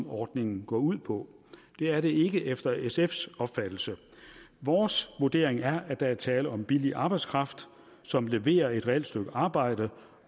ordningen går ud på det er det ikke efter sfs opfattelse vores vurdering er at der er tale om billig arbejdskraft som leverer et reelt stykke arbejde